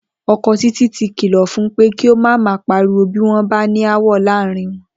O̩ko̩ Títí ti kìlò̩ fun pé kí ó má máa pariwo bí wó̩n bá ní aáwò̩ láàárín wo̩n